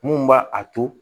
Mun b'a a to